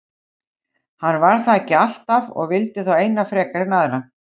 Hann var það ekki alltaf og vildi þá eina frekar en aðra.